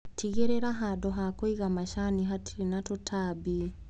Tigĩrĩra handũ hakũiga macani hatirĩ na tũtambi.